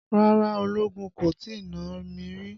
Rárá ológun kò tí nà mí rí.